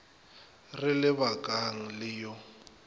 re le bakang le yo